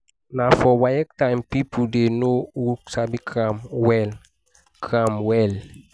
na for waec time people dey know who sabi cram well. cram well.